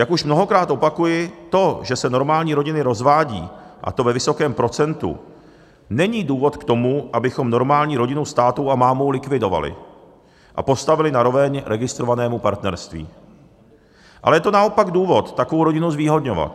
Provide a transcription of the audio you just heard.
Jako už mnohokrát opakuji: to, že se normální rodiny rozvádějí, a to ve vysokém procentu, není důvod k tomu, abychom normální rodinu s tátou a mámou likvidovali a postavili na roveň registrovanému partnerství, ale je to naopak důvod takovou rodinu zvýhodňovat.